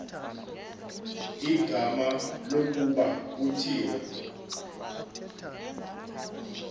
igama lokuba kuthiwe